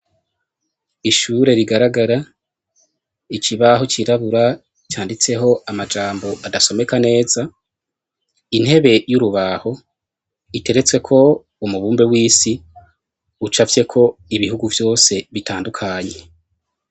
Ishure rigaragara ,ikubaho canditseko amajambo adasomeka neza, intebe y'urubaho iteretseko umubumbe w'isi, ucafye ko ibihugu vyose bitandukanye.